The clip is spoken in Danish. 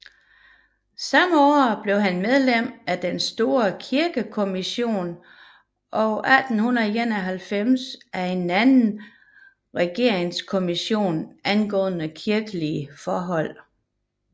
Samme år blev han medlem af den store kirkekommission og 1891 af en anden regeringskommission angående kirkelige forhold